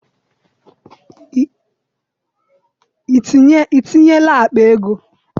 I tinyela akpa ego?